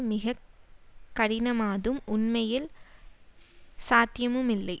மிக கடினமாதும் உண்மையில் சாத்தியமுமில்லை